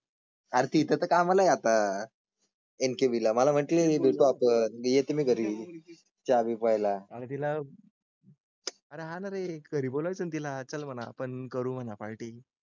आरती तर इथं कमला एमसीबीला म्हटले, देतो आहे तुम्ही घरी येईल त्यावेळेला आणि तिला राहणारे काही बोलायचं तिला चल म्हणा पण करू ना पार्टी.